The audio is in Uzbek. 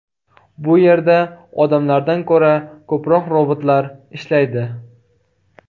Bu yerda odamlardan ko‘ra ko‘proq robotlar ishlaydi.